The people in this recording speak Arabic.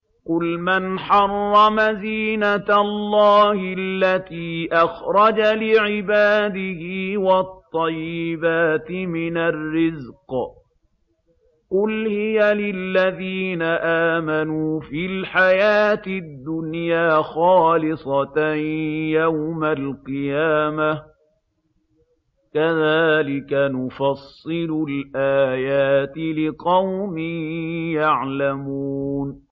قُلْ مَنْ حَرَّمَ زِينَةَ اللَّهِ الَّتِي أَخْرَجَ لِعِبَادِهِ وَالطَّيِّبَاتِ مِنَ الرِّزْقِ ۚ قُلْ هِيَ لِلَّذِينَ آمَنُوا فِي الْحَيَاةِ الدُّنْيَا خَالِصَةً يَوْمَ الْقِيَامَةِ ۗ كَذَٰلِكَ نُفَصِّلُ الْآيَاتِ لِقَوْمٍ يَعْلَمُونَ